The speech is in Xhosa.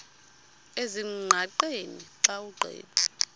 ezingqaqeni xa ugqitha